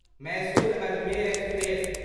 Mysore Ajmer express